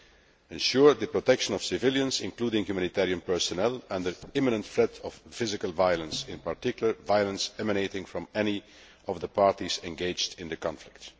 to ensure the protection of civilians, including humanitarian personnel, under imminent threat of physical violence, in particular, violence emanating from any of the parties engaged in the conflict'.